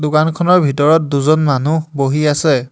দোকানখনৰ ভিতৰত দুজন মানুহ বহি আছে।